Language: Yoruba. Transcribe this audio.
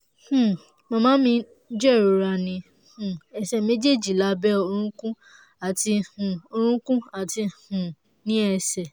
um màmá mi ń jẹ̀rora ní um ẹsẹ̀ méjèèjì lábẹ́ orúnkún àti um orúnkún àti um ní ẹsẹ̀